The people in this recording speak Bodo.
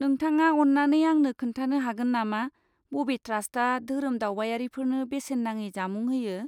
नोंथाङा अन्नानै आंनो खोन्थानो हागोन नामा बबे ट्रास्टआ धोरोम दावबायारिफोरनो बेसेन नाङि जामुं होयो?